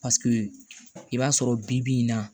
Paseke i b'a sɔrɔ bi bi in na